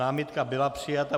Námitka byla přijata.